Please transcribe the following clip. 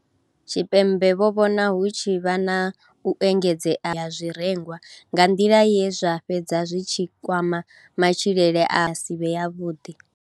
Tshipembe vho vhona hu tshi vha na u engedzea ha zwirengwa nga nḓila ye zwa fhedza zwi tshi kwama matshilele a si vhe yavhuḓi.